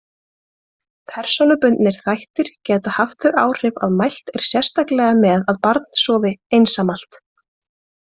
Persónubundnir þættir geta haft þau áhrif að mælt er sérstaklega með að barn sofi einsamalt.